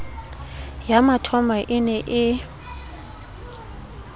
ya mathomo e ne e